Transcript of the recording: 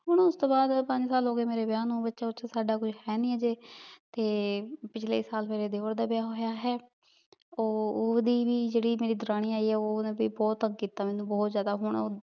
ਹਨ ਓਸ ਤੋਂ ਬਾਅਦ ਪੰਜ ਸਾਲ ਹੋਗਏ ਮੇਰੇ ਵਿਯਾਹ ਨੂ ਬਚਾ ਉਚਾ ਕੋਈ ਹੈ ਨਾਈ ਸਾਡਾ ਹਜੇ ਪਿਛਲੇ ਸਾਲ ਮੇਰੇ ਦੇਵਰ ਦਾ ਵਿਯਾਹ ਹੋਯਾ ਹੈ ਊ ਓਹਦੀ ਵੀ ਜੇਰੀ ਮੇਰੀ ਦੁਰਾਨੀ ਆਈ ਆ ਓਹਨੇ ਵੀ ਬੋਹਤ ਤੰਗ ਕੀਤਾ ਮੇਨੂ ਬੋਹਤ ਜ਼੍ਯਾਦਾ ਹਨ ਊ